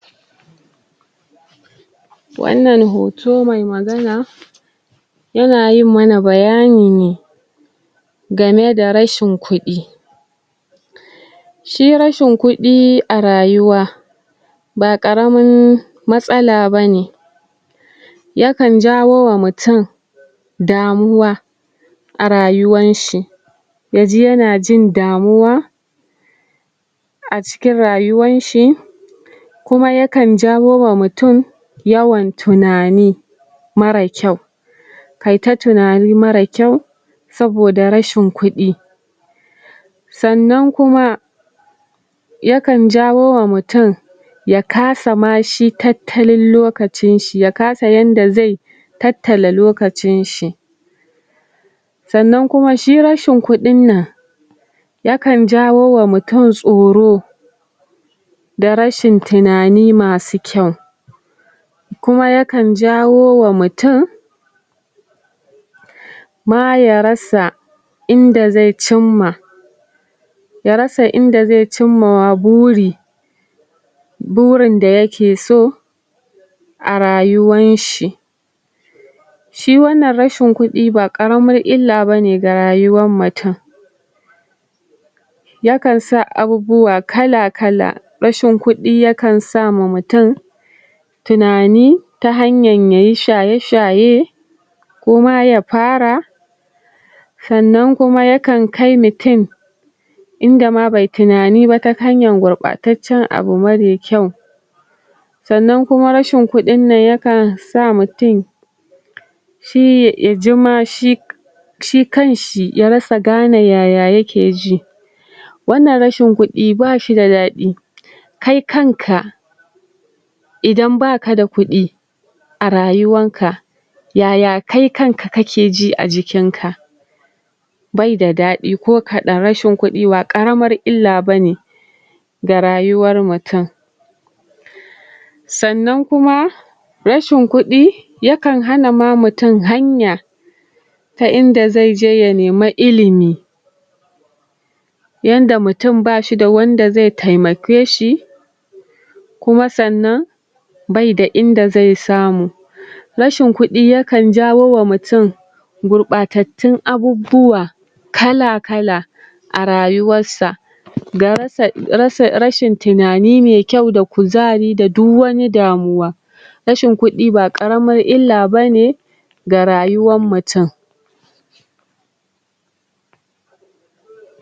wannan hoto mai magana ya na yin mana bayani ne ga me da rashin kudi shi rashin kudi a rayuwa ba karamin matsala ba ne ya kan jawo wa mutum damuwa a rayuwan shi ya ji ya na jin damuwa a cikin rayuwan shi kuma ya kan jawo wa mutum yawan tunani mara kyau ka yi ta tunani mara kyau soboda rashin kudi sannan kuma ya kan jawo ma mutum ya kasa ma shi tattalin lokacin shi ka sa yadda zai tattala lokacin shi sannan kuma shi rashin kudin nan ya kan jawo ma mutum tsoro da rashin tunani masu kyau kuma ya kan jawowa mutum ma ya rasa in da zai cima ya rasa inda zai cima wa buri burin da ya ke so a rayuwan shi shiwannan rashin kudi ba karamin illa ba ne a rayuwan mutum ya kan sa abubuwa kala kala rashin kudi ya kan sa ma murtum tunani ta hanya ya yi shaye shaye koma ya fara sannan kuma ya kan kai mutum in da ma bai tunani ba ta hanyan gwabartacen abu mara kyau sannan kuma rashin kudi ya kan sa mutum shi ya ji ma shi shi kan shi ya rasa gane yaya yake wannan rashin kudi ba shi da dadi kai kan ka idan ba ka da kudi a rayuwan ka ya ya kai kan ka kake ji a jikin ka bai da dadi ko kadan rashin kudi ba karamar illa bane ga rayuwar mutum sannan kuma rashin kudi ya kan hana ma mutum hanya ta inda zai je ya nema ilimi yanda mutum ba shi da wanda zai taimake shi kuma sannan bai da inda zai samu rashin kudi ya kan jawo wa mutum gurbatatun abubuwa kala kala a rayuwar sa ga rashin tunani mai kyau da kuzari da duk wani damuw rashin kudi ba karamar ila ba ne ga rayuwan mutum